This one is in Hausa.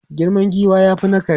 Girman giwa ya fi na kare.